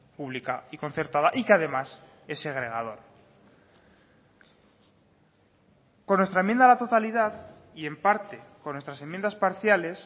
pública y concertada y que además es segregador con nuestra enmienda a la totalidad y en parte con nuestras enmiendas parciales